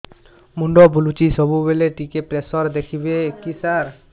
ମୁଣ୍ଡ ବୁଲୁଚି ସବୁବେଳେ ଟିକେ ପ୍ରେସର ଦେଖିବେ କି ସାର